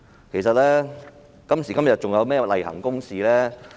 其實，今時今日還有甚麼是例行公事呢？